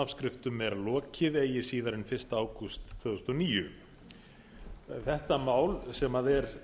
afskriftum vera lokið eigi síðar en fyrsta ágúst tvö þúsund og níu þessi tillaga sem er